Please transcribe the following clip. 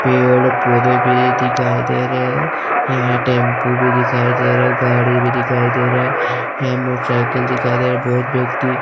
पेड़ पौधे भी दिखाई दे रहे हैं यहां टेंपू भी दिखाई दे रहा है गाड़ी भी दिखाई दे रहा है यहां मोटरसाइकिल दिखाई दे रहा है बहुत व्यक्ति --